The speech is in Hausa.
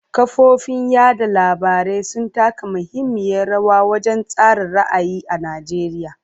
Kafofin yada labarai sun taka muhimmiyar rawa wajen tsara ra'ayi a Najeriya.